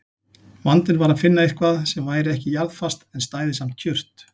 Vandinn var að finna eitthvað sem væri ekki jarðfast en stæði samt kjurt.